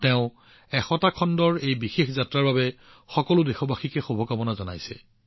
তেওঁ শততম খণ্ডৰ এই আশ্চৰ্যকৰ যাত্ৰাৰ বাবে সকলো দেশবাসীলৈ শুভেচ্ছা জনাইছে